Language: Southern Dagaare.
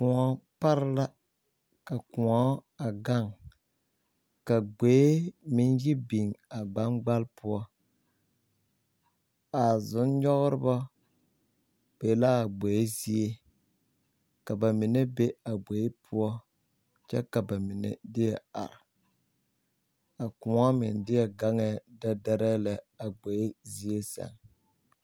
la kõɔ a gaŋ ka gboe meŋ yi biŋ gbaŋgbale poɔ a zum-nyɛgreba be la a gboe zie ka ba mine be a gboe poɔ kyɛ ka ba mine deɛ are a kõɔ meŋ deɛ gaŋɛɛ dɛɛ lɛ zie zaa.